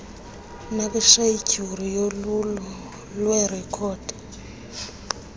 nakwishedyuli yolwulo lweerekhodi